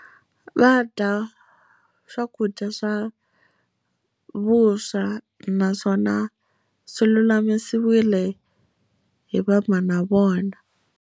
Va dya swakudya swa vuswa naswona swi lulamisiwile hi vamhana vona.